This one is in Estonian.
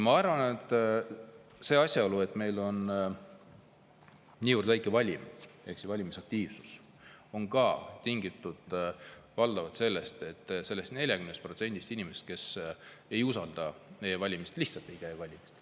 Ma arvan, et see asjaolu, et meil on niivõrd väike valimisaktiivsus, on tingitud valdavalt sellest, et 40% inimestest ei usalda e-valimisi ja lihtsalt ei käi valimas.